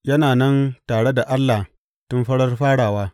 Yana nan tare da Allah tun farar farawa.